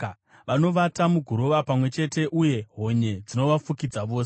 Vanovata muguruva pamwe chete, uye honye dzinovafukidza vose.